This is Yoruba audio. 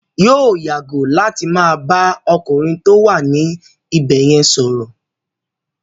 Yóò yàgò láti má bà á ọkùnrin tó wà ní ibẹ̀ yẹn sọ̀rọ̀.